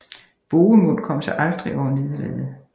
Bohemund kom sig aldrig over nederlaget